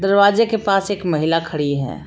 दरवाजे के पास एक महिला खड़ी है।